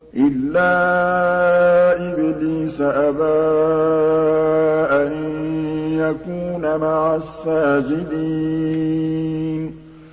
إِلَّا إِبْلِيسَ أَبَىٰ أَن يَكُونَ مَعَ السَّاجِدِينَ